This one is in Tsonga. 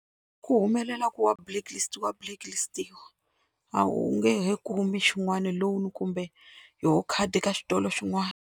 Ku humelela ku wa wa blacklist-iwa a wu nge he kumi xin'wana loan kumbe yoho khadi ka xitolo xin'wana.